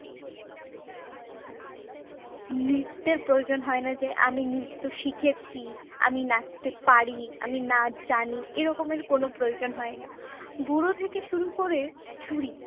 নৃত্যের প্রয়োজন হয় না যে আমি নৃত্য শিখেছি, আমি নাচতে পারি, আমি নাচ জানি এরকমের কোন প্রয়োজন হয় না। বুড়ো থেকে শুরু করে ছুঁড়ি